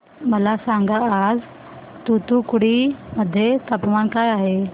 मला सांगा आज तूतुकुडी मध्ये तापमान काय आहे